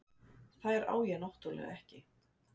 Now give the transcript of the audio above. Þær á ég náttúrlega ekki.